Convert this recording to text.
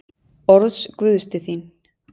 Orðs Guðs til þín.